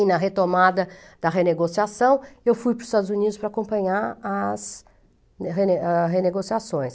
E na retomada da renegociação, eu fui para os Estados Unidos para acompanhar as rene ah renegociações.